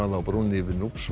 á brúnni yfir